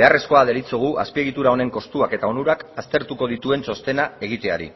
beharrezkoa deritzogu azpiegitura honen kostuak eta onurak aztertuko dituen txostena egiteari